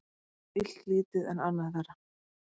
Betra er illt lítið en annað verra.